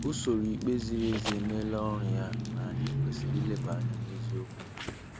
Usoro ikpe ziri ezi emeela ọrụ ya na anyị kwesịrị ileba anya neziokwu.